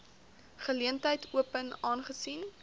geleentheid open aangesien